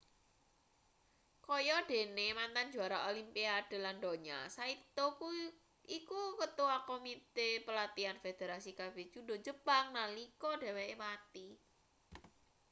kaya dene mantan juara olimpiade lan donya saito iku ketua komite pelatihan federasi kabeh judo jepang nalika dheweke mati